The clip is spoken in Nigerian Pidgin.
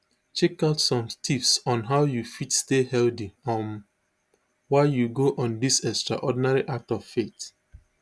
checkout some tips on how you fit stay healthy um while you go on dis extraordinary act of faith